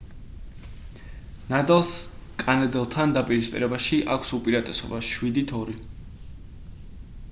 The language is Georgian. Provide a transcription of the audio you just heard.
ნადალს კანადელთან დაპირისპირებაში აქვს უპირატესობა 7-2